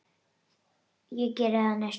Ég geri það næst.